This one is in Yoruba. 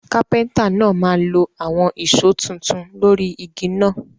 Kápẹ́ńtà náà máa lo àwon ìso tuntun lórí igi náà